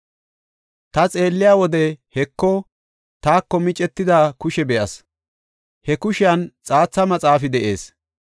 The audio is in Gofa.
Ta xeelliya wode, Heko, taako micetida kushe be7as; he kushiyan xaatha maxaafi de7ees.